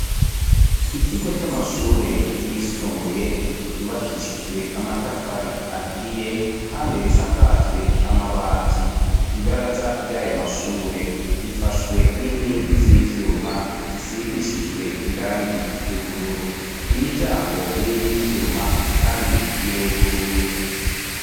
Ikigo c'amashule yisumbuye, yubakishijwe amatafari aturiye, kandi risakajwe amabati. Ibaraza ry'ayo mashule, rifashwe n'inkingi z'ivyuma, zisigishijwe irangi ry'ubururu. Imiryango ni iy'iyivyuma kandi iruguruye.